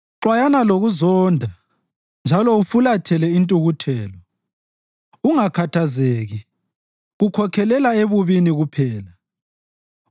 Xwayana lokuzonda njalo ufulathele intukuthelo; ungakhathazeki, kukhokhelela ebubini kuphela.